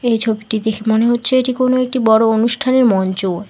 এই ছবিটি দেখে মনে হচ্ছে যে এটি কোনো একটি বড় অনুষ্ঠানের মঞ্চ।